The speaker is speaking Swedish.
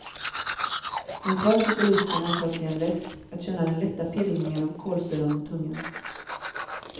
Men kvar sitter lusten att ta sig en läsk, att känna den lätta pirrningen av kolsyran mot tungan.